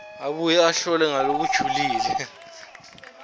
abuye ahlole ngalokujulile